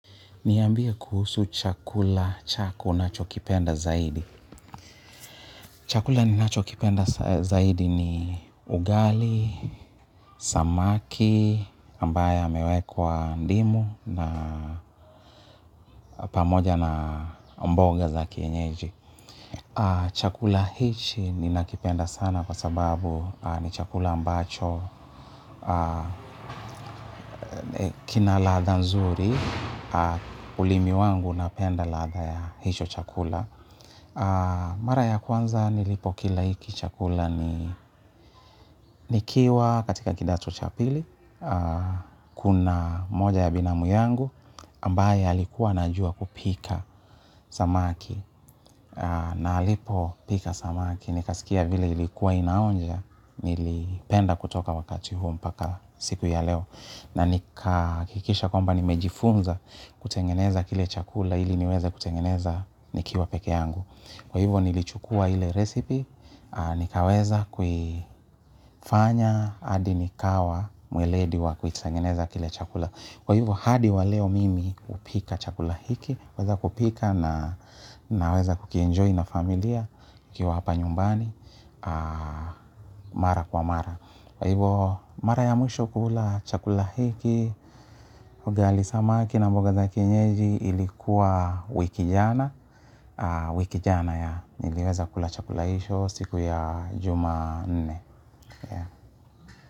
Niambie kuhusu chakula chako unachokipenda zaidi. Chakula ninachokipenda zaidi ni ugali, samaki, ambayo yamewekwa ndimu na pamoja na mboga za kienyeji. Chakula hichi ninakipenda sana kwa sababu ni chakula ambacho kina ladha nzuri. Ulimi wangu unapenda ladha ya hicho chakula. Mara ya kwanza nilipokila hiki chakula ni nikiwa katika kidato cha pili. Kuna moja ya binamu yangu ambaye alikuwa anajua kupika samaki. Na alipopika samaki nikasikia vile ilikuwa inaonja nilipenda kutoka wakati huo mpaka siku ya leo. Na nikahakikisha kwamba nimejifunza kutengeneza kile chakula ili niweze kutengeneza nikiwa peke yangu. Kwa hivo nilichukua ile resipi, nikaweza kuifanya, hadi nikawa mweledi wa kuitengeneza kile chakula. Kwa hivo hadi wa leo mimi hupika chakula hiki, huweza kupika na naweza kukienjoy na familia, tukiwa hapa nyumbani, mara kwa mara. Kwa hivo mara ya mwisho kukula chakula hiki, ugali samaki na mboga za kienyeji ilikuwa wiki jana, wiki jana yeah, niliweza kula chakula hicho siku ya jumanne.